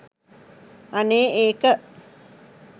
අනේ ඒක